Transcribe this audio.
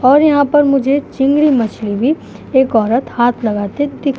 और यहाँ पर मुझे चिंगड़ी मछली भी एक औरत हाथ लगाते दिख --